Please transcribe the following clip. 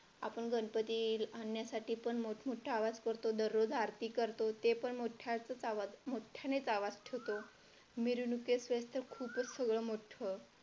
आपण गणपती आणण्यासाठी पण मोठा मोठा आवाज करतो दररोज आरती करतो ते पण मोठ्या आवाजातच मोठ्याने आवाज ठेवतो मिरवणूक असेल तर खूपच सगळं मोठं,